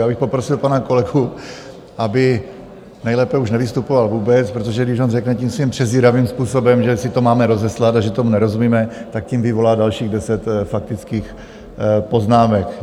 Já bych poprosil pana kolegu, aby nejlépe už nevystupoval vůbec, protože když on řekne tím svým přezíravým způsobem, že si to máme rozeslat a že tomu nerozumíme, tak tím vyvolá dalších deset faktických poznámek.